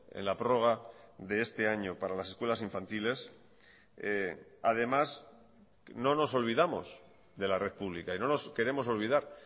en la prórroga de este año para las escuelas infantiles además no nos olvidamos de la red pública y no nos queremos olvidar